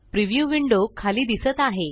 preview window खाली दिसत आहे